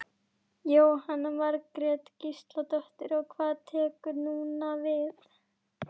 Jóhanna Margrét Gísladóttir: Og hvað tekur núna við?